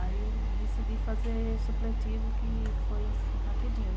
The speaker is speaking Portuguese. Aí eu decidi fazer supletivo que foi assim, rapidinho, né?